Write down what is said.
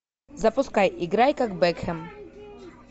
запускай играй как бекхэм